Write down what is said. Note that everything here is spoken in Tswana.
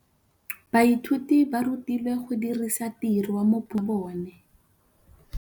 Baithuti ba rutilwe go dirisa tirwa mo puong ya bone.